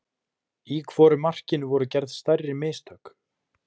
Í hvoru markinu voru gerð stærri mistök?